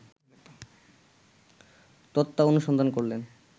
তত্ত্বানুসন্ধান করলেন